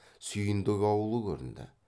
сүйіндік аулы көрінді